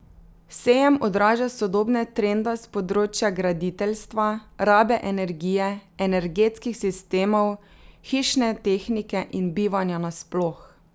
Sejem odraža sodobne trende s področja graditeljstva, rabe energije, energetskih sistemov, hišne tehnike in bivanja nasploh.